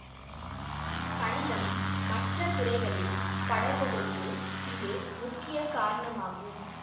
கணிதம் மற்ற துறைகளில் படர்வதற்கு இது முக்கிய காரணமாகும்